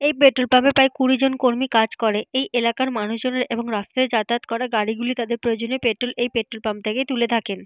এই petrol pump - এ প্রায় কুড়ি জন কর্মী কাজ করে। এই এলাকার মানুষজনের এবং রাস্তায় যাতায়াত করা গাড়িগুলি তাদের প্রয়োজনীয় পেট্রল - এই পেট্রল পাম্প থেকে তুলে থাকেন।